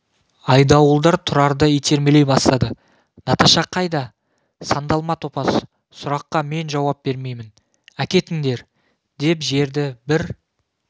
айдауылдар тұрарды итермелей бастады наташа қайда сандалма топас сұраққа мен жауап бермеймін әкетіңдер деп жерді бір